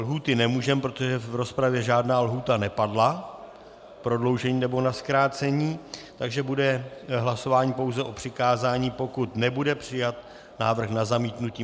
Lhůty nemůžeme, protože v rozpravě žádná lhůta nepadla k prodloužení nebo na zkrácení, takže bude hlasování pouze o přikázání, pokud nebude přijat návrh na zamítnutí.